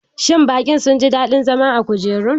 Shin bakin sun ji daɗin zama a kujerun?